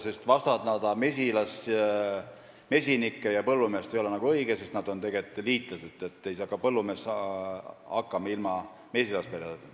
Neid vastandada ei ole õige, sest nad on tegelikult liitlased, kuivõrd ka põllumees ei saa hakkama ilma mesilasperedeta.